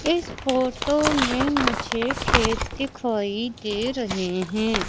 इस फोटो में मुझे खेत दिखाई दे रहे हैं।